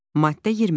Maddə 20.